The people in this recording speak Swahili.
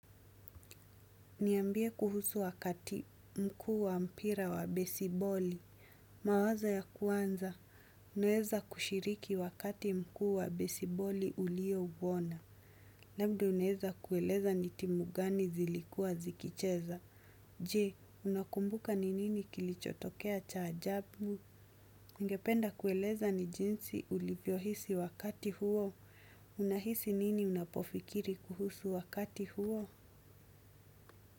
Niambie kuhusu wakati mkuu wa mpira wa besiboli. Mawazo ya kuanza, unaeza kushiriki wakati mkuu wa besiboli uliouona. Labda unaeza kueleza ni timu gani zilikua zikicheza. Je, unakumbuka ni nini kilichotokea cha ajabu? Nigependa kueleza ni jinsi ulivyo hisi wakati huo. Unahisi nini unapofikiri kuhusu wakati huo?